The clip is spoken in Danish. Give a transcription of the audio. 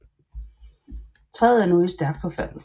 Træet er nu i stærkt forfald